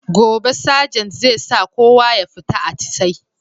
Gobe sajant zai sa kowa ya fita atisa'i